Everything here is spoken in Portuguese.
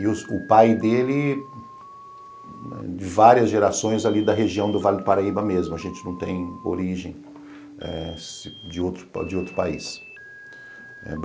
E os o pai dele, várias gerações ali da região do Vale do Paraíba mesmo, a gente não tem origem eh de de outro outro país.